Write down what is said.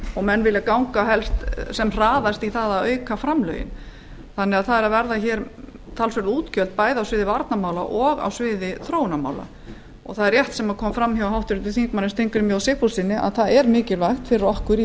og menn vilja auka framlögin sem fyrst það verða því talsverð útgjöld bæði á sviði varnarmála og þróunarmála eins og fram kom hjá háttvirtum þingmönnum steingrími j sigfússyni er mikilvægt fyrir okkur í